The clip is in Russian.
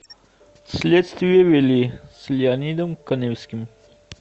следствие вели с леонидом каневским